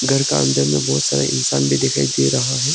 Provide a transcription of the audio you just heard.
घर का अंदर में बहुत सारा इंसान भी दिखाई दे रहा है।